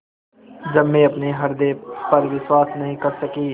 जब मैं अपने हृदय पर विश्वास नहीं कर सकी